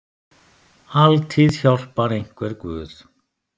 Altíð hjálpar einhver guð.